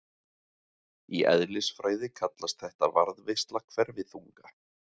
í eðlisfræði kallast þetta varðveisla hverfiþunga